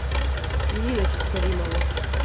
ниночку каримову